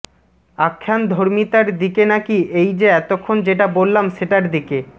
আখ্যানধর্মীতার দিকে নাকি এই যে এতক্ষণ যেটা বললাম সেটার দিকে